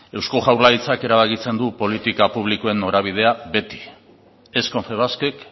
eusko jaurlaritzak erabakitzen du politika publikoen norabidea beti ez confebaskek